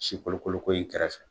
Sikolokoloko in kɛrɛfɛ.